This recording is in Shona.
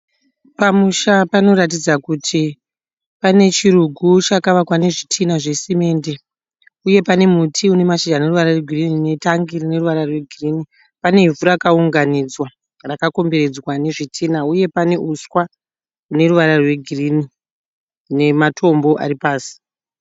Pamusha panoratidza kuti pane chirugu chakavakwa nezvitinha zvesimende uye pane muti une mashizha ane ruvara rwegirini netangi rine ruvara rwegirini , pane ivhu rakaunganidzwa rakakomberedzwa nezvitinha uye nehuswa neruvara rwegirini nematombo aripasi.